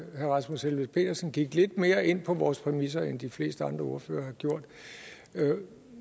herre rasmus helveg petersen gik lidt mere ind på vores præmisser end de fleste andre ordførere har gjort